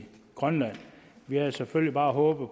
grønland vi havde selvfølgelig bare håbet